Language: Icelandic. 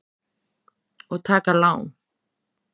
Og taka lán.